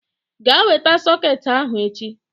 Gaa weta sọket ahụ echi!